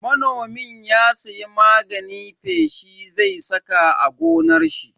Manomin ya siya magani feshi zai saka a gonar shi.